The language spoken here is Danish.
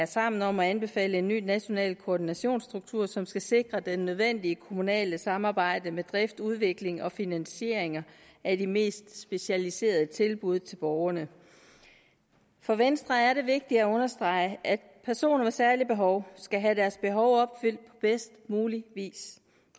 sammen om at anbefale en ny national koordinationsstruktur som skal sikre det nødvendige kommunale samarbejde med drift udvikling og finansiering af de mest specialiserede tilbud til borgerne for venstre er det vigtigt at understrege at personer med særlige behov skal have deres behov opfyldt bedst muligt